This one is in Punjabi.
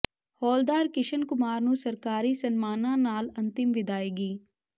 ਹੌਲਦਾਰ ਕਿ੍ਸ਼ਨ ਕੁਮਾਰ ਨੂੰ ਸਰਕਾਰੀ ਸਨਮਾਨਾਂ ਨਾਲ ਅੰਤਿਮ ਵਿਦਾਇਗੀ